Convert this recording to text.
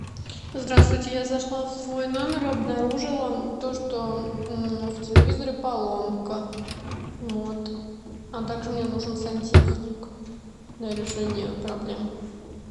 здравствуйте я зашла в свой номер и обнаружила то что в телевизоре поломка вот а также мне нужен сантехник для решения проблем